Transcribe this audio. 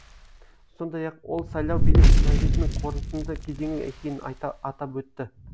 сондай ақ ол сайлау билік транзитінің қорытынды кезеңі екенін атап өтті